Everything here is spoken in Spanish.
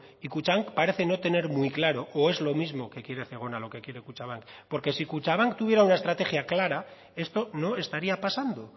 y kutxabank parece no tener muy claro o es lo mismo que quiere zegona lo que quiere kutxabank porque si kutxabank tuviera una estrategia clara esto no estaría pasando